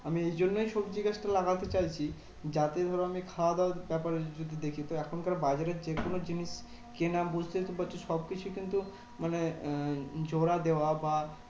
আমি এই জন্যেই সবজি গাছটা লাগাতে চাইছি? যাতে ধরো আমি খাওয়া দাওয়ার ব্যাপার যদি দেখি? তো এখনকার বাজারে যেকোনো জিনিস কেনা বুঝতেই তো পারছো সবকিছু কিন্তু মানে আহ জোড়া দেওয়া বা